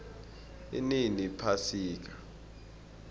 inini iphasika